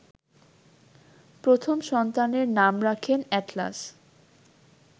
প্রথম সন্তানের নাম রাখেন এ্যাটলাস